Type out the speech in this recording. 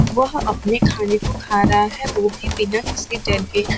वह अपने खाने को खा रहा है वो भी बिना किसी के--